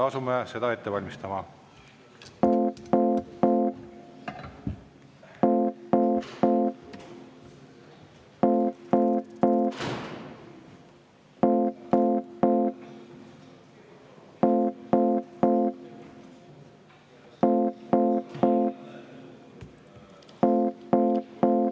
Asume seda ette valmistama.